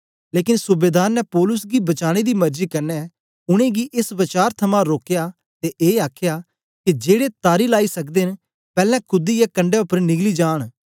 लेकन सूबेदार ने पौलुस गी बचाने दी मरजी कन्ने उनेंगी एस वचार थमां रोकया ते ए आखया के जेड़े तारी लाइ सकदे न पैलैं कूदीयै कंडै उपर निकली जांन